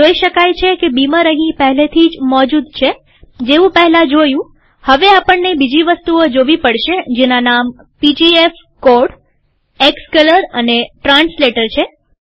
જોઈ શકાય છે કે બીમર અહીં પહેલેથી જ મોજુદ છેજેવું પહેલા જોયુંહવે આપણને બીજી વસ્તુઓ જોવી પડશે જેના નામ પીજીએફકોડએક્સકલર અને ટ્રાન્સલેટર છે